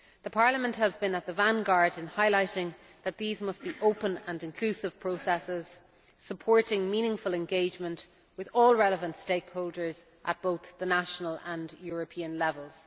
Parliament has been in the vanguard in highlighting that these must be open and inclusive processes, supporting meaningful engagement with all relevant stakeholders at both the national and European levels.